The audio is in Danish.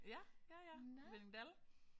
Ja ja ja Hvinningdal